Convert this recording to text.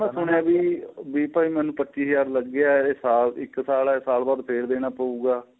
ਮੈਂ ਸੁਣਿਆ ਵੀ ਭਾਈ ਮੈਨੂੰ ਪੱਚੀ ਹਜ਼ਾਰ ਲੱਗਿਆ ਏਹ ਇੱਕ ਸਾਲ ਹੈ ਏਹ ਸਾਲ ਬਾਅਦ ਫ਼ਿਰ ਦੇਣਾ ਪਹੁਗਾ